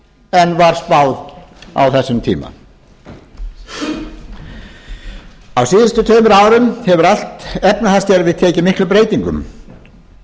en var spáð á þessum tíma á síðustu tveimur árum hefur allt efnahagskerfið tekið miklum breytingum